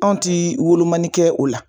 Anw ti wolomani kɛ o la.